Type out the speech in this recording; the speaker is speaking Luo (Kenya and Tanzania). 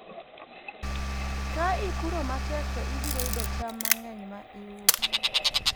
ka ipuro matek to ibiro yudo cham mang'eny ma iuso